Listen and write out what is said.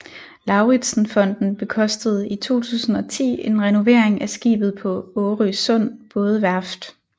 Lauritzen Fonden bekostede i 2010 en renovering af skibet på Årøsund Bådeværft